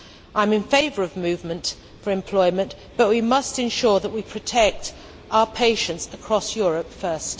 I am in favour of movement for employment, but we must ensure that we protect our patients across Europe first.